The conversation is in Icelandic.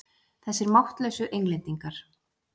Þessir máttlausu Englendingar!